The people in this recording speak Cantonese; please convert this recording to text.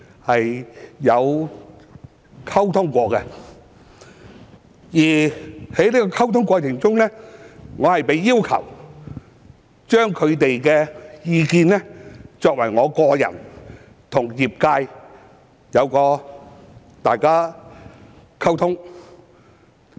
在溝通過程中，我被要求把他們的意見，透過我個人跟業界溝通。